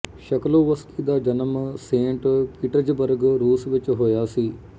Shklovsky ਦਾ ਜਨਮ Saint Petersburg ਰੂਸ ਵਿੱਚ ਹੋਇਆ ਸੀ